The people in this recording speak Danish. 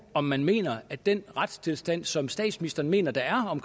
om man mener at den retstilstand som statsministeren mener der er